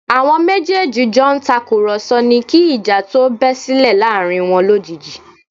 Àwọn méjèèjì jọ ń tàkùrọ̀sọ ni kí ìjà tó bẹ́ sílẹ̀ láàrin wọn lójijì